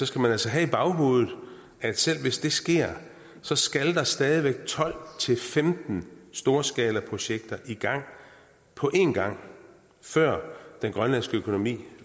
skal man altså have i baghovedet at selv hvis det sker så skal der stadig væk tolv til femten storskalaprojekter i gang på en gang før den grønlandske økonomi